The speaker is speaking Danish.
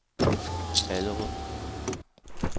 Allerød